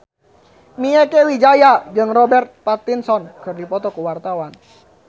Mieke Wijaya jeung Robert Pattinson keur dipoto ku wartawan